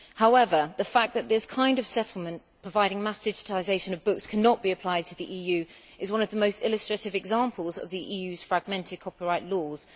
However, the fact that this kind of settlement providing mass digitisation of books cannot be applied to the EU is one of the most illustrative examples of the EU's fragmented copyright laws.